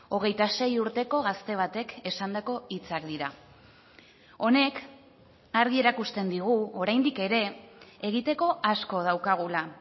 hogeita sei urteko gazte batek esandako hitzak dira honek argi erakusten digu oraindik ere egiteko asko daukagula